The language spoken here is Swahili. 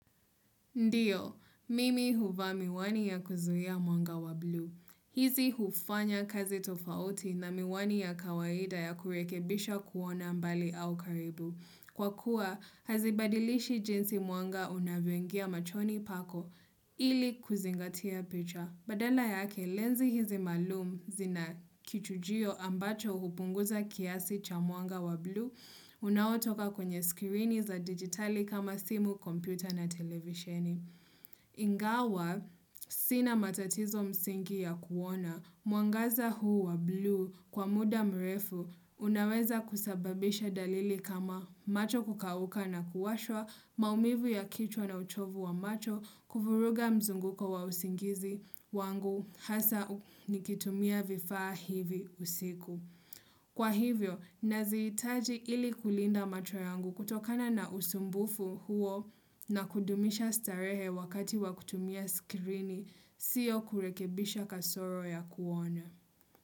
Ndiyo, mimi huvaa miwani ya kuzuia mwanga wa blue. Hizi hufanya kazi tofauti na miwani ya kawaida ya kurekebisha kuona mbali au karibu. Kwa kuwa, hazibadilishi jinsi mwanga unavyoingia machoni pako ili kuzingatia picha. Badala yake, lenzi hizi maalum zina kichujio ambacho hupunguza kiasi cha mwanga wa blue, unaotoka kwenye skirini za digitali kama simu, kompyuta na televisheni. Ingawa, sina matatizo msingi ya kuona, mwangaza huu wa blue kwa muda mrefu, unaweza kusababisha dalili kama macho kukauka na kuwashwa, maumivu ya kichwa na uchovu wa macho kuvuruga mzunguko wa usingizi wangu hasa nikitumia vifaa hivi usiku. Kwa hivyo, nazihitaji ili kulinda macho yangu kutokana na usumbufu huo na kudumisha starehe wakati wa kutumia skirini siyo kurekebisha kasoro ya kuona.